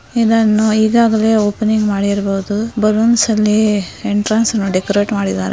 ಇದನ್ನು ಈಗಾಗಲೇ ಓಪನಿಂಗ್ ಮಾಡಿರಬಹುದು ಬಲೂನ್ಸ್ ಅಲ್ಲಿ ಎಂಟ್ರನ್ಸ್ ಅನ್ನ ಡೆಕೋರೇಟ್ ಮಾಡಿದರೆ.